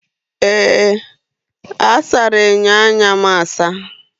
Ee! A sara enyo anya m asa.